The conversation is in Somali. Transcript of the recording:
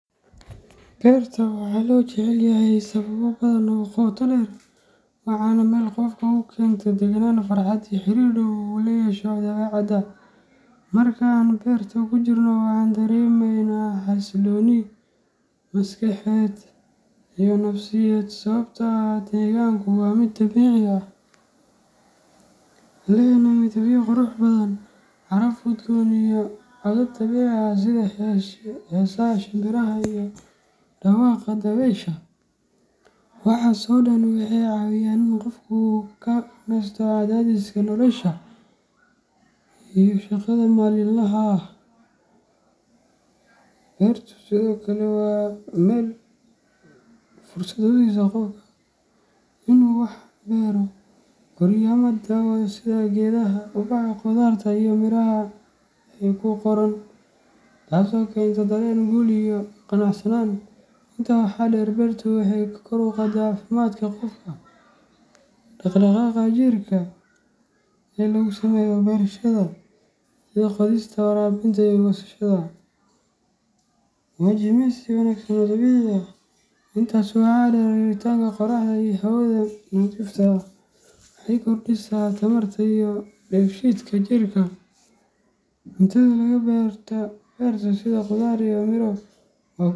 Beerta waxaa loo jecel yahay sababo badan oo qoto dheer leh, waana meel qofka u keenta deganaan, farxad iyo xiriir dhow oo uu la yeesho dabeecadda. Marka aan beerta ku jirno, waxaan dareemeynaa xasillooni maskaxeed iyo nafsiyeed sababtoo ah deegaanku waa mid dabiici ah, lehna midabyo qurux badan, caraf udgoon iyo codad dabiici ah sida heesaha shimbiraha iyo dhawaqa dabaysha. Waxaas oo dhan waxay caawiyaan in qofku uu ka nasto cadaadiska nolosha iyo shaqada maalinlaha ah. Beertu sidoo kale waa meel fursad u siisa qofka in uu wax beero, koriyo ama daawado sida geedaha, ubaxa, khudaarta iyo miraha ay u koraan, taasoo keenta dareen guul iyo qanacsanaan. Intaa waxaa dheer, beertu waxay kor u qaadaa caafimaadka qofka. Dhaqdhaqaaqa jirka ee lagu sameeyo beerashada, sida qodista, waraabinta iyo goosashada, waa jimicsi wanaagsan oo dabiici ah. Intaas waxaa dheer, helitaanka qorraxda iyo hawada nadiifta ah waxay kordhisaa tamarta iyo dheef shiidka jirka. Cuntada laga beerto beerta, sida khudaar iyo miro.